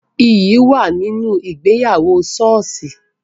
Iyì wà nínú ìgbéyàwó soosi